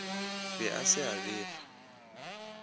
be a se a befa